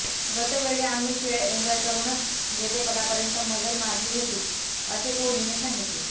गतवेळी आम्ही खेळ एन्जॉय करूनच जेतेपदापर्यंत मजल मारली होती असे कोहलीने सांगितले